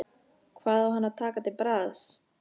Hvað á hann að taka til bragðs?